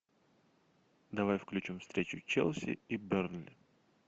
давай включим встречу челси и бернли